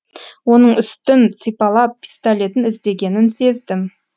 оның үстін сипалап пистолетін іздегенін сездім